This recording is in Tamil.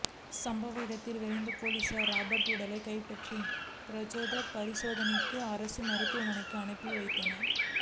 சம்பவ இடத்திற்கு விரைந்த போலீசார் ராபர்ட் உடலை கைப்பற்றி பிரேத பரிசோதனைக்காக அரசு மருத்துவமனைக்கு அனுப்பி வைத்தனர்